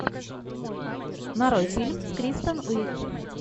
нарой фильм с кристен уик